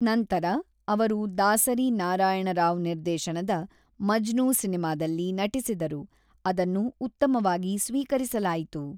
ನಂತರ, ಅವರು ದಾಸರಿ ನಾರಾಯಣ ರಾವ್ ನಿರ್ದೇಶನದ ಮಜ್ನು ಸಿನಿಮಾದಲ್ಲಿ ನಟಿಸಿದರು, ಅದನ್ನು ಉತ್ತಮವಾಗಿ ಸ್ವೀಕರಿಸಲಾಯಿತು.